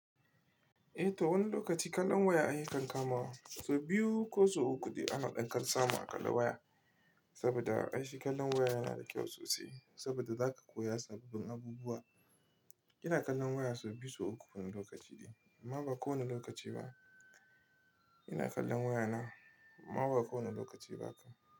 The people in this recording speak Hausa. Eh to wani lokaci kallon waya ayi kankama. So biyu ko so uku da ana ɗan kansama a kalla waya. Saboda a ishi kallon waya yana da kyau sosai. Saboda za ka koya sababbin abubuwa. Ina kallon waya so biyu ko uku wani lokaci dai. Amma ba kowane lokaci ba. Ina kallon waya na. Amma ba kowane lokaci ba kam.